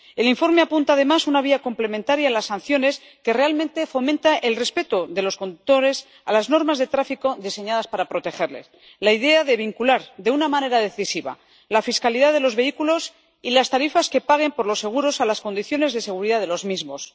El informe apunta además una vía complementaria a las sanciones que realmente fomenta el respeto por los conductores de las normas de tráfico diseñadas para protegerles la idea de vincular de una manera decisiva la fiscalidad de los vehículos y las tarifas que paguen por los seguros a las condiciones de seguridad de los mismos.